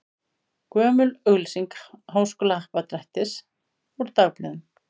Gömul auglýsing Háskólahappdrættis úr dagblöðum.